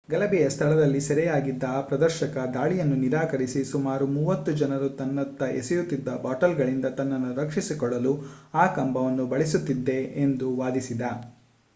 ಗಲಭೆಯ ಸ್ಥಳದಲ್ಲಿ ಸೆರೆಯಾಗಿದ್ದ ಆ ಪ್ರದರ್ಶಕ ದಾಳಿಯನ್ನು ನಿರಾಕರಿಸಿ ಸುಮಾರು ಮೂವತ್ತು ಜನರು ತನ್ನತ್ತ ಎಸೆಯುತಿದ್ದ ಬಾಟಲ್‌ಗಳಿಂದ ತನ್ನನ್ನು ರಕ್ಷಿಸಿಕೊಳ್ಳಲು ಆ ಕಂಬವನ್ನು ಬಳಸುತ್ತಿದ್ದೆ ಎಂದು ವಾದಿಸಿದ